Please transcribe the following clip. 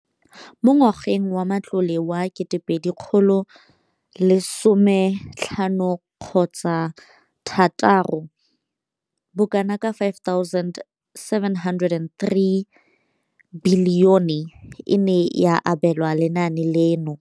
Mo ngwageng wa matlole wa 2015,16, bokanaka R5 703 bilione e ne ya abelwa lenaane leno.